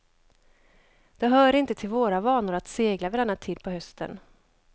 Det hör inte till våra vanor att segla vid denna tid på hösten.